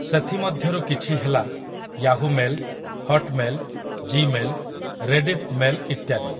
ସେଥିମଧ୍ୟରୁ କିଛି ହେଲା Yahoo mail, Hotmail, Gmail, Rediff mail ଇତ୍ୟାଦି ।